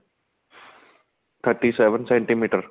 thirty seven centimeter